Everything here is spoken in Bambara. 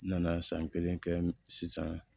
N nana san kelen kɛ sisan